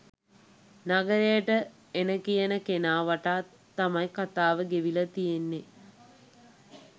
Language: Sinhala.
නගරෙට එන කියන කෙනා වටා තමයි කතාව ගෙවිලා තියෙන්නේ